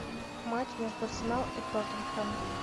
матч между арсенал и тоттенхэм